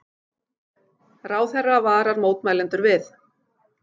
Ráðherra varar mótmælendur við